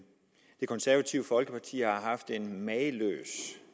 konservative folkeparti haft en mageløs